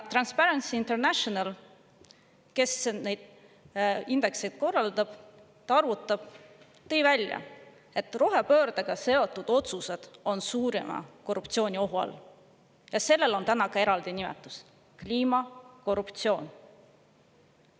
Transparency International, kes neid indekseid arvutab, tõi välja, et rohepöördega seotud otsused on suurima korruptsiooniohu all, ja sellel on ka eraldi nimetus: kliimakorruptsioon.